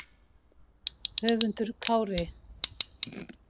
Höskuldur Kári: Hvernig leið þér?